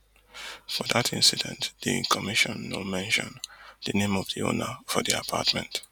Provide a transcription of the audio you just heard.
for dat incident di commission no mention di name of di owner for di apartment